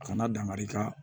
A kana dankari i ka